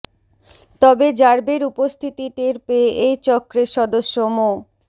তবে র্যাবের উপস্থিতি টের পেয়ে এই চক্রের সদস্য মো